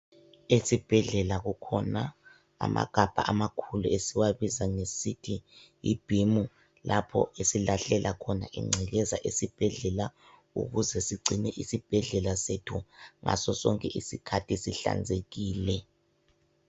Esibhedlela kukhona amagabha amakhulu esiwabiza ngesithi yibhimu, lapho esilahlela khona ingcekeza esibhedlela ukuze sigcine isibhedlela sethu ngasosonke isikhathi sihlanzekile.